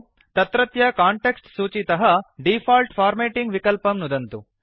तत्रत्य कांटेक्स्ट् सूचीतः default formatting विकल्पं नुदन्तु